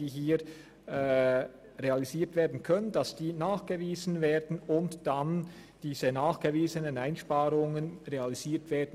Die hier realisierbaren Einsparungen müssen nachgewiesen und diese nachgewiesenen Einsparungen realisiert werden.